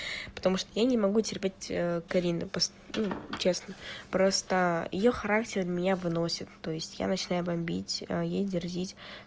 потому что я не могу терпеть карину честно просто её характер меня выносит то есть я начинаю бомбить ей дерзить